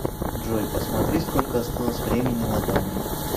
джой посмотри сколько осталось времени на таймере